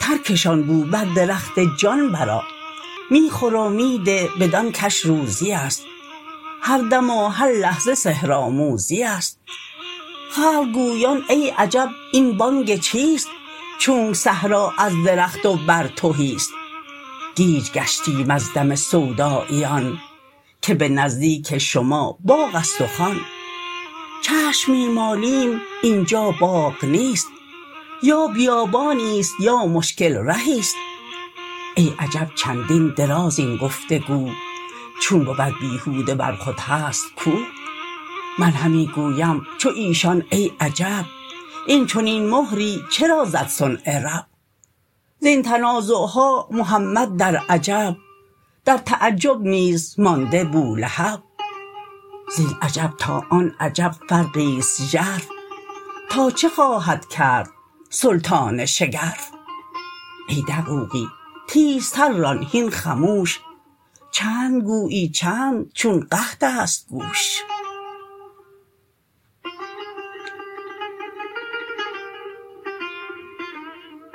ترکشان گو بر درخت جان بر آ می خور و می ده بدان کش روزیست هر دم و هر لحظه سحرآموزیست خلق گویان ای عجب این بانگ چیست چونک صحرا از درخت و بر تهیست گیج گشتیم از دم سوداییان که به نزدیک شما باغست و خوان چشم می مالیم اینجا باغ نیست یا بیابانیست یا مشکل رهیست ای عجب چندین دراز این گفت و گو چون بود بیهوده ور خود هست کو من همی گویم چو ایشان ای عجب این چنین مهری چرا زد صنع رب زین تنازعها محمد در عجب در تعجب نیز مانده بولهب زین عجب تا آن عجب فرقیست ژرف تا چه خواهد کرد سلطان شگرف ای دقوقی تیزتر ران هین خموش چند گویی چند چون قحطست گوش